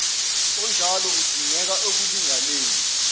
onjalo udingeka ekulinganeni